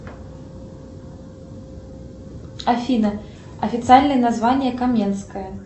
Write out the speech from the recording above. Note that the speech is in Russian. афина официальное название каменская